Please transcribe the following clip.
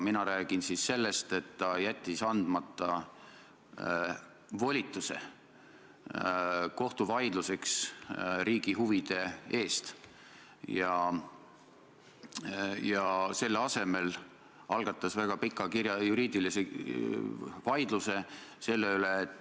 Mina rääkisin sellest, et peaminister soovib väga olla peaminister ja on selle nimel valmis kõikidest põhimõtetest, lubadustest ja väärtustest loobuma.